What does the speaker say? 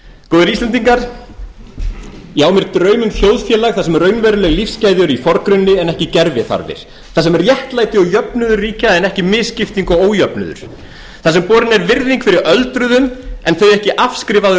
góðir íslendingar ég á mér draum um þjóðfélag þar sem raunveruleg lífsgæði eru í forgrunni en ekki gerviþarfir þar sem réttlæti og jöfnuður ríkja en ekki misskipting og ójöfnuður þar sem borin er virðing fyrir öldruðum en þeir ekki afskrifaður